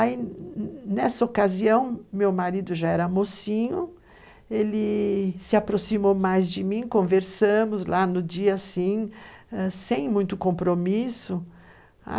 Aí, nessa ocasião, meu marido já era mocinho, ele se aproximou mais de mim, conversamos lá no dia, assim, sem muito compromisso.